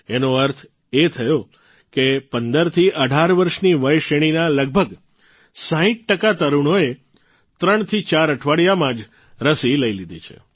એનો અર્થ એ થયો કે ૧૫ થી ૧૮ વર્ષની વય શ્રેણીના લગભગ ૬૦ ટકા તરૂણોએ ૩ થી ૪ અઠવાડિયામાં જ રસી લઇ લીધી છે